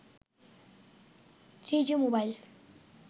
3g mobile